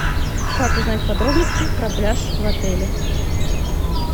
как узнать подробности про пляж в отеле